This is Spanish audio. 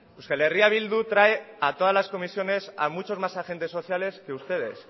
euskal herria bildu trae a todas las comisiones a muchos más agentes sociales que ustedes